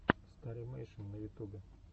старимэйшн на ютубе